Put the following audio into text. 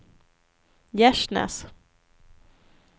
Gärsnäs